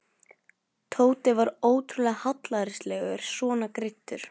Tóti var ótrúlega hallærislegur svona greiddur.